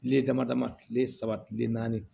Tile dama dama kile saba kile naani